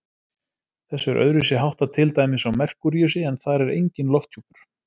Þessu er öðruvísi háttað til dæmis á Merkúríusi, en þar er enginn lofthjúpur.